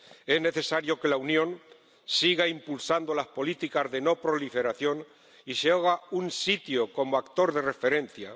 Es necesario que la Unión siga impulsando las políticas de no proliferación y se haga un sitio como actor de referencia.